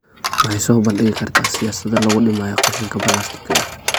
Waxay soo bandhigi kartaa siyaasado lagu dhimayo qashinka balaastikada ah.